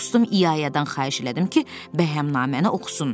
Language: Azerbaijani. Dostum İyayadan xahiş elədim ki, bəhəmnaməni oxusun.